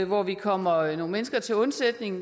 hvor vi kommer nogle mennesker til undsætning